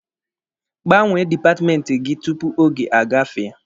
Gbanwe dipatmenti gị tupu oge agafee!